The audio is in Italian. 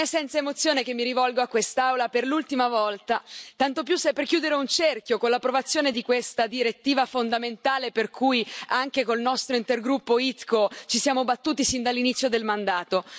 Non è senza emozione che mi rivolgo a quest'Aula per l'ultima volta, tanto più se è per chiudere un cerchio con l'approvazione di questa direttiva fondamentale per cui anche con il nostro intergruppo ITCO ci siamo battuti sin dall'inizio del mandato.